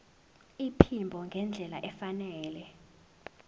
iphimbo ngendlela efanele